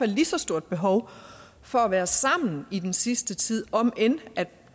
lige så stort behov for at være sammen i den sidste tid om end